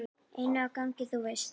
Inni á gangi, þú veist.